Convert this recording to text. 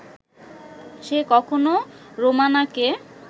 সে কখনো রোমানাকে